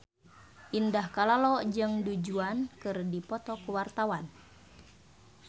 Indah Kalalo jeung Du Juan keur dipoto ku wartawan